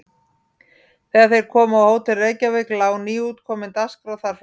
Þegar þeir komu á Hótel Reykjavík lá nýútkomin Dagskrá þar frammi.